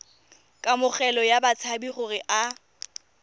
kamogelo ya batshabi gore a